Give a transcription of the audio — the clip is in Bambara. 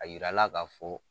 A yirala ka fɔ